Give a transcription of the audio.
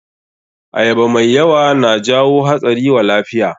Ayaba mai yawa na jawo hatsari wa lafiya.